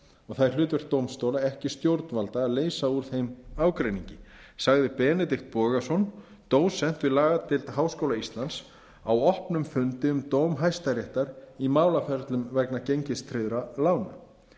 og það er hlutverk dómstóla ekki stjórnvalda að leysa úr þeim ágreiningi sagði benedikt bogason dósent við lagadeild háskóla íslands á opnum fundi um dóm hæstaréttar í málaferlum vegna gengistryggðra lána